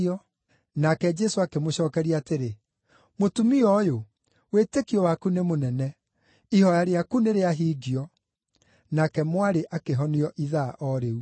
Nake Jesũ akĩmũcookeria atĩrĩ, “Mũtumia ũyũ, wĩtĩkio waku nĩ mũnene! Ihooya rĩaku nĩrĩahingio.” Nake mwarĩ akĩhonio ithaa o rĩu.